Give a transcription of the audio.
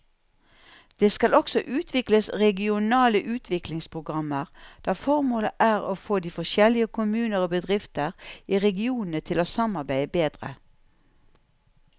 Det skal også utvikles regionale utviklingsprogrammer der formålet er å få de forskjellige kommuner og bedrifter i regionene til å samarbeide bedre.